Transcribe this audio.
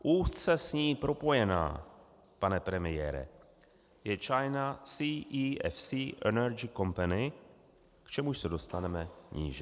Úzce s ní propojená, pane premiére, je China CEFC Energy Company, k čemuž se dostaneme níže.